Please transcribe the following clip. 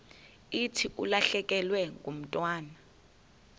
thi ulahlekelwe ngumntwana